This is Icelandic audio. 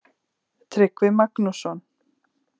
Tryggvi Magnússon.